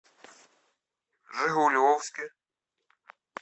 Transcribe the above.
жигулевске